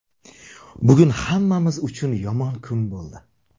Bugun hammamiz uchun yomon kun bo‘ldi.